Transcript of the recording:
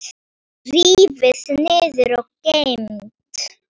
Rífið niður og geymið.